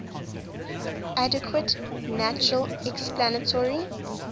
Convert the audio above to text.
adequate natural explanatory